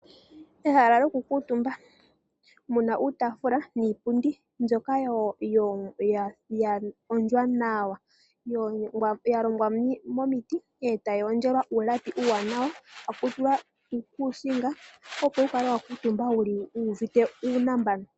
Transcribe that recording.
Ehala lyokukuutumba mu na uutaafula niipundi mbyoka ya hondjwa nawa ya longwa momiti e tayi hondjelwa uulapi uuwanawa taku tulwa uukuusinga, opo wu kale wa kuutumba wu uvite uunambano.